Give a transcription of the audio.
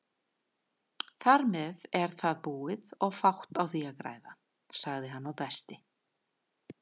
Þarmeð er það búið og fátt á því að græða, sagði hann og dæsti.